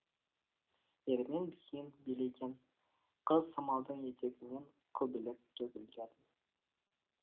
ермен биін билеген қыз самалдың етегінен көбелек төгілді